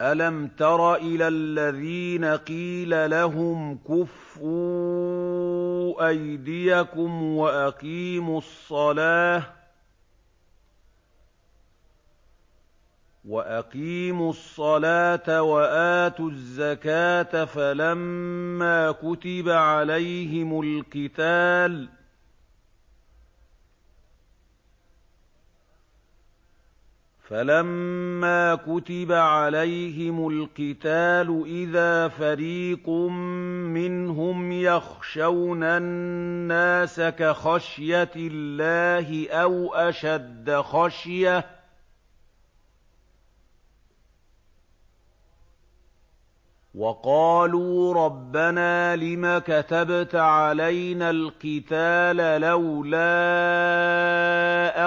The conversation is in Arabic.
أَلَمْ تَرَ إِلَى الَّذِينَ قِيلَ لَهُمْ كُفُّوا أَيْدِيَكُمْ وَأَقِيمُوا الصَّلَاةَ وَآتُوا الزَّكَاةَ فَلَمَّا كُتِبَ عَلَيْهِمُ الْقِتَالُ إِذَا فَرِيقٌ مِّنْهُمْ يَخْشَوْنَ النَّاسَ كَخَشْيَةِ اللَّهِ أَوْ أَشَدَّ خَشْيَةً ۚ وَقَالُوا رَبَّنَا لِمَ كَتَبْتَ عَلَيْنَا الْقِتَالَ لَوْلَا